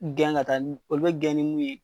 Gɛn ŋa taa n olu be gɛn ni mun ye